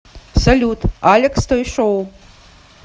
салют алекс той шоу